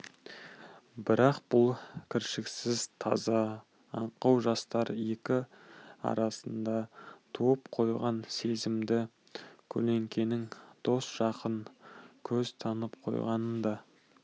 бірақ бұл кіршіксіз таза аңқау жастар екі арасында туып қойған сезімді көлденең дос жақын көз танып қойғанын да